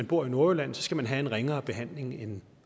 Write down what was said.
bor i nordjylland skal have en ringere behandling end